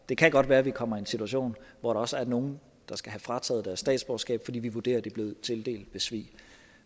det kan godt være at vi kommer i en situation hvor der også er nogle der skal have frataget deres statsborgerskab fordi vi vurderer at det er blevet tildelt ved svig